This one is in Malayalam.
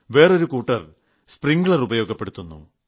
വേറൊരു കൂട്ടർ സ്പ്രിംഗ്ലർ ഉപയോഗപ്പെടുത്തുന്നു